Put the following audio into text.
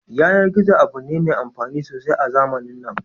Yanar gizo abu ne mai amfani sosai a zamanin nan